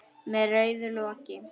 Með rauðu loki.